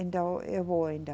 Então eu vou ainda.